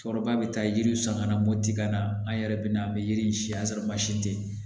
Cɛkɔrɔba bɛ taa yiriw san ka na motika na an yɛrɛ bɛ na an bɛ yiri in si an sɔrɔ mansin tɛ yen